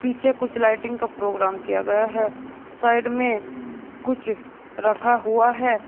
पीछे कुछ लाइटिंग का प्रोग्राम किया गया है साइड में कुछ रखा हुआ है।